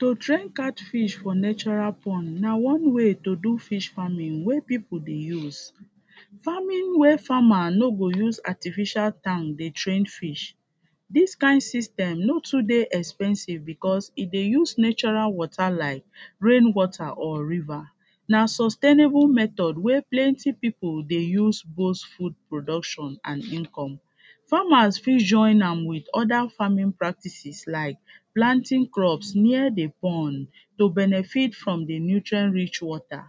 to train catfish for natural pond na one way to do fish farming wey people dey use farming wey farmer nor go use artificial tank dey train fish this kind system nor too dey expensive because e dey use natural water like rain water or river na sustainable method wey plenty people dey use boost food production and income farmers fit join am with other farming practices like planting crops near the pond to benefit from the nutrient rich water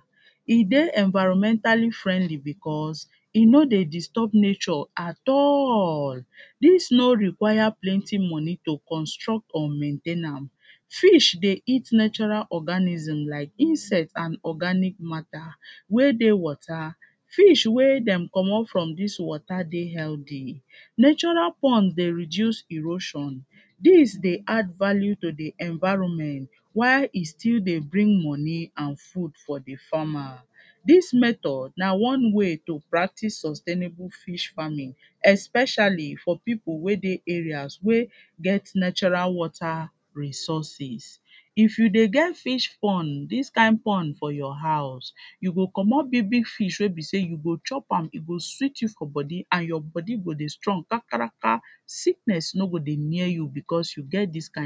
e dey environmentally friendly because e nor dey disturb nature at all dis nor require plenty money to construct or maintain am fish dey eat natural organism like insects and oraganic matter wey dey water fish wey dem comot from dis water dey healthy natural pond dey reduce erosion dis dey add value to the environment while e still dey bring money and food for the farmer dis method na wan way to practice sustainable fish farming especially for people wey dey areas wey get natural wata resources if you dey get fish pond dis kind pond for your house you go comot big-big fish wey be say you go chop am e go sweet you for body and your body go dey strong kankanrakan sickness nor go dey near you because you get dis kind